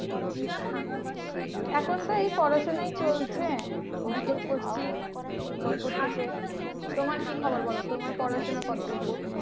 এখন তো এই পড়াশোনাই চলছে B Tech টা করছি বোলপুর থেকে, তোমার কি খবর বলো? তোমার পড়াশোনা কতদূর?